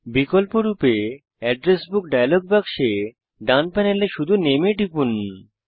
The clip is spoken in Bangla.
বিকল্পরূপে অ্যাড্রেস বুক ডায়লগ বাক্সে ডান প্যানেলে শুধু নামে এ টিপুন